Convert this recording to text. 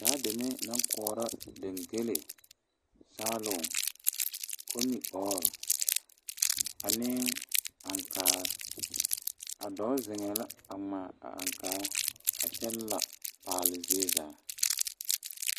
Daa deme naŋ koɔrɔ dangele, saaluŋ, komiɔɔre ane aŋkaare a dɔɔ zeŋee la a ŋmaa a aŋkaa kyɛ lapaale zie zaa.